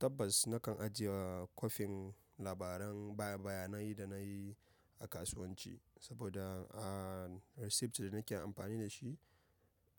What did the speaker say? Tabbas nakan ajiye kwafin labaran baya-bayanan yadda na yi a kasuwanci, saboda, a receipt da nake amfani da shi